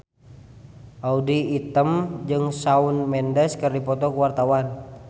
Audy Item jeung Shawn Mendes keur dipoto ku wartawan